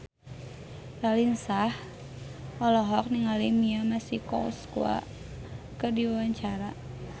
Raline Shah olohok ningali Mia Masikowska keur diwawancara